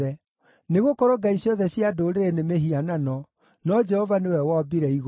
Nĩgũkorwo ngai ciothe cia ndũrĩrĩ nĩ mĩhianano, no Jehova nĩwe wombire igũrũ.